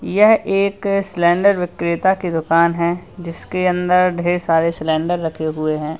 यह एक सिलेंडर विक्रेता की दुकान है जिसके अंदर ढेर सारे सिलेंडर रखे हुए हैं।